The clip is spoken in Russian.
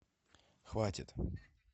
хватит